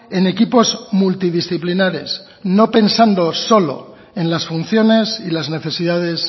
en equipos multidisciplinares no pensando solo en las funciones y las necesidades